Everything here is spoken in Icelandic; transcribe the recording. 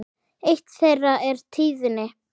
Eitt þeirra er tíðni.